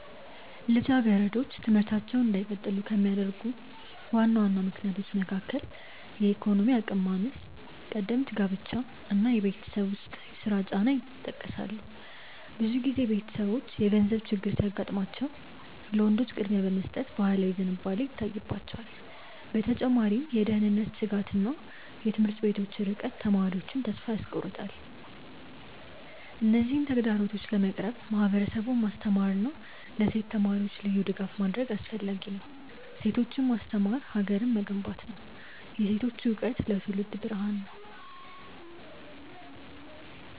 ልጃገረዶች ትምህርታቸውን እንዳይቀጥሉ ከሚያደርጉ ዋና ዋና ምክንያቶች መካከል የኢኮኖሚ አቅም ማነስ፣ ቀደምት ጋብቻ እና የቤት ውስጥ ስራ ጫና ይጠቀሳሉ። ብዙ ጊዜ ቤተሰቦች የገንዘብ ችግር ሲያጋጥማቸው ለወንዶች ቅድሚያ የመስጠት ባህላዊ ዝንባሌ ይታይባቸዋል። በተጨማሪም የደህንነት ስጋትና የትምህርት ቤቶች ርቀት ተማሪዎቹን ተስፋ ያስቆርጣል። እነዚህን ተግዳሮቶች ለመቅረፍ ማህበረሰቡን ማስተማርና ለሴት ተማሪዎች ልዩ ድጋፍ ማድረግ አስፈላጊ ነው። ሴቶችን ማስተማር ሀገርን መገንባት ነው። የሴቶች እውቀት ለትውልድ ብርሃን ነው።